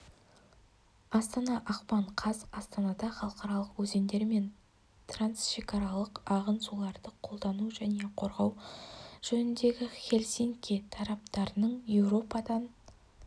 астана ақпан қаз астанада халықаралық өзендер мен трансшекаралық ағын суларды қолдану және қорғау жөніндегі хелсинки тараптарының еуропадан